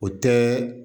O tɛ